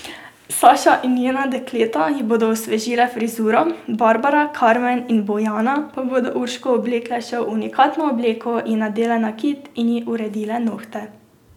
Saša in njena dekleta ji bodo osvežile frizuro, Barbara, Karmen in Bojana pa bodo Urško oblekle še v unikatno obleko, ji nadele nakit in ji uredile nohte.